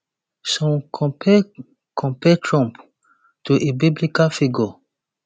some compare compare trump to a biblical figure